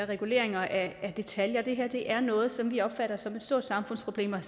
reguleringer af detaljer det her er noget som vi opfatter som et stort samfundsproblem